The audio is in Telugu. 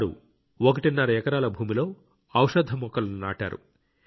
వారు ఒకటిన్నర ఎకరాల భూమిలో ఔషధ మొక్కలను నాటారు